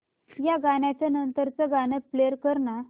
या गाण्या नंतरचं गाणं प्ले कर ना